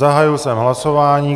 Zahájil jsem hlasování.